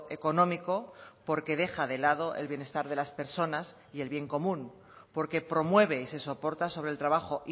económico porque deja de lado el bienestar de las personas y el bien común porque promueve y se soporta sobre el trabajo